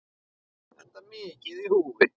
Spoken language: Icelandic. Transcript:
Enda mikið í húfi.